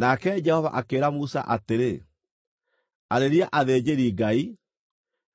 Nake Jehova akĩĩra Musa atĩrĩ, “Arĩria athĩnjĩri-Ngai,